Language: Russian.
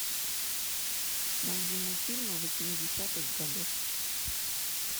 найди мультфильмы восьмидесятых годов